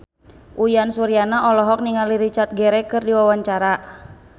Uyan Suryana olohok ningali Richard Gere keur diwawancara